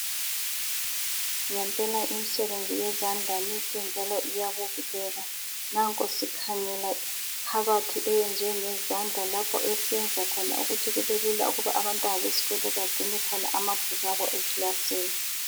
Ngempela imisebenzi yezandla mihle njalo iyabukeka nanko sikhangela ikhabothi eyenziwe ngezandla esiyenza khona ukuthi kubelula ukuthi abantwana bagcine amabhuku abo eklasini.